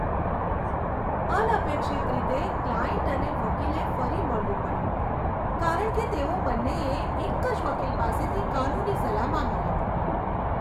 અનપેક્ષિત રીતે, ક્લાયન્ટ અને વકીલે ફરી મળવું પડ્યું, કારણ કે તેઓ બંનેએ એક જ વકીલ પાસેથી કાનૂની સલાહ માંગી હતી.